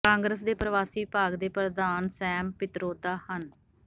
ਕਾਂਗਰਸ ਦੇ ਪਰਵਾਸੀ ਵਿਭਾਗ ਦੇ ਪ੍ਰਧਾਨ ਸੈਮ ਪਿਤਰੋਦਾ ਹਨ